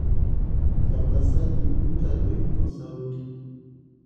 tapasali ntadoi osauti